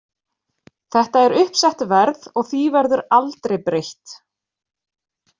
Þetta er uppsett verð og því verður aldrei breytt.